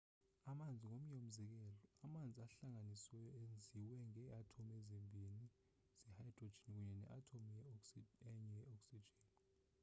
amanzi ngomnye umzekelo amanzi ahlanganisiweyo enziwe ngee athomu ezibini ze-hydrogen kunye ne athomu enye ye-oxygen